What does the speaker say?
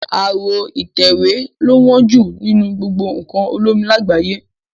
Aró ìtẹ̀wé lo wón jù nínú gbogbo nkàn olómi làgbáyé